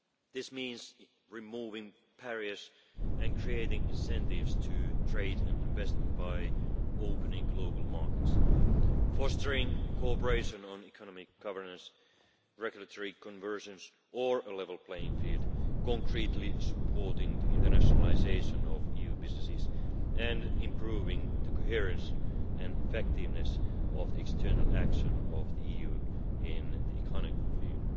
This means removing barriers and creating incentives to trade and investment by opening global markets, fostering cooperation on economic governance, regulatory convergence or a level playing field, concretely supporting the internationalisation of EU businesses and improving the coherence and effectiveness of the external action of the EU in the economic field.